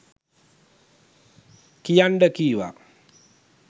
කියන්ඩ කිව්වා.